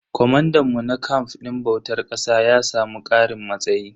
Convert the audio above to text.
Comandan mu na camf din bautar ƙasa ya samu karin matsayi.